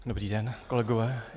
Dobrý den, kolegové.